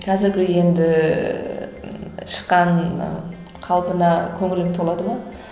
қазіргі енді шыққан і қалпына көңілің толады ма